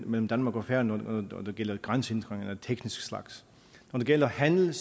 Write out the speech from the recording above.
mellem danmark og færøerne når det gælder grænsehindringer af teknisk slags når det gælder handel